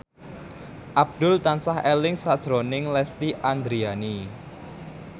Abdul tansah eling sakjroning Lesti Andryani